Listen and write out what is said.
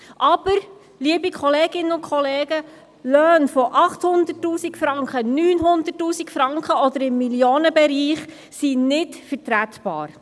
Aber, liebe Kolleginnen und Kollegen, Löhne von 800 000, 900 000 Franken oder im Millionenbereich sind nicht vertretbar.